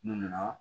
N nana